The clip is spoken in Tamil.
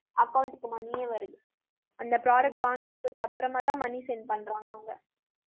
account க்கு money யே வருது . அந்த product வாங்கிட்டு போயிட்ட அப்புறமாதான் money send பண்றாங்க அவங்க.